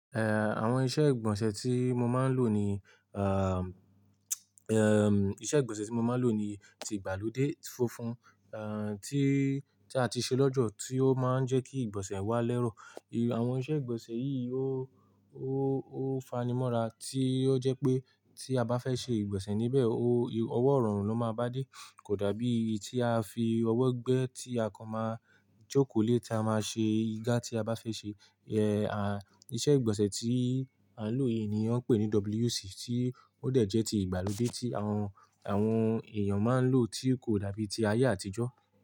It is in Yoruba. Eh, àwọn iṣẹ́ ìgbọ̀nsẹ̀ tí mo máa ń lò ni, ahm, ahm, iṣẹ́ ìgbọ̀nsẹ̀ tí mo máa ń lò ni ti ìgbàlódé funfun, eh, tí, tí a ti ṣe lọ́jọ́ tí ó máa ń jẹ́ kí ìgbọ̀nsẹ̀ wá lẹ́rọ̀. Àwọn iṣẹ́ ìgbọ̀nsẹ̀ yìí ó, ó, ó fanimọ́ra tí ó jẹ́ pé tí a bá fẹ́ ṣe ìgbọ̀nsẹ̀ níbẹ̀, ó, ọwọ́ rọrùn ló máa bá dé. Kò dàbí èyí tí a fi ọwọ́ gbẹ́ tí a kan máa jókòó lé tí a máa ṣe igá tí a bá fẹ́ ṣe. Eh, a, iṣẹ́ ìgbọ̀nsẹ̀ tí a ń lò yìí ni wọ́n ń pè ní WC tí ó dà jẹ́ ti ìgbàlódé tí àwọn, àwọn èèyàn máa ń lò tí kò dàbí ti ayé àtijọ́